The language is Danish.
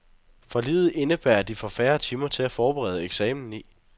Forliget indebærer, at de får færre timer til at forberede eksamen i.